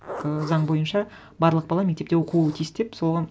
і заң бойынша барлық бала мектепте оқуы тиіс деп соған